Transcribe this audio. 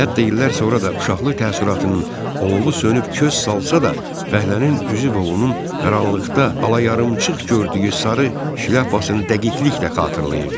Hətta illər sonra da uşaqlık təəssüratının alovu sönüb köz salsa da, fəhlənin üzü və onun qaranlıqda ala-yarımçıq gördüyü sarı şlyapasını dəqiqliklə xatırlayırdı.